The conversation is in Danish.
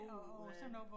Uha